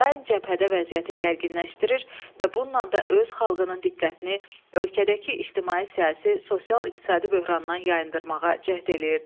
daim cəbhədə vəziyyəti gərginləşdirir və bununla da öz xalqının diqqətini ölkədəki ictimai-siyasi, sosial-iqtisadi böhrandan yayındırmağa cəhd edir.